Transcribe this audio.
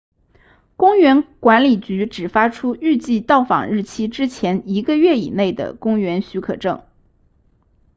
公园管理局只发出预计到访日期之前一个月以内的公园许可证